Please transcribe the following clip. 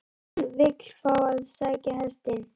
HÚN vill fá að sækja hestinn.